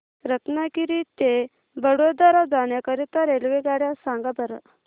रत्नागिरी ते वडोदरा जाण्या करीता रेल्वेगाड्या सांगा बरं